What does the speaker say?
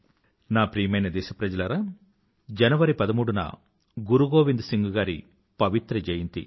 నా ప్రియమైన దేశప్రజలారా జనవరి పదమూడున గురుగోవింద్ సింగ్ గారి పవిత్ర జయంతి